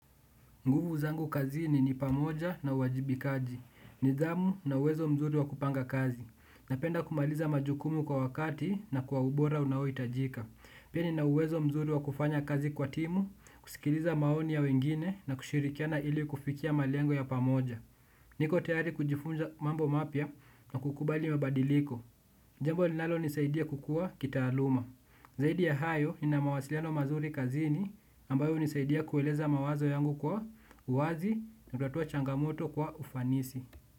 Nguvu zangu kazini ni pamoja na uwajibikaji. Nidhamu na uwezo mzuri wa kupanga kazi. Napenda kumaliza majukumu kwa wakati na kwa ubora unaohitajika. Pia nina uwezo mzuri wa kufanya kazi kwa timu, kusikiliza maoni ya wengine na kushirikiana ili kufikia malengo ya pamoja. Niko tayari kujifunza mambo mapya na kukubali mabadiliko. Jambo linalonisaidia kukua kitaaluma. Zaidi ya hayo, nina mawasiliano mazuri kazini ambayo hunisaidia kueleza mawazo yangu kwa uwazi kutatua changamoto kwa ufanisi.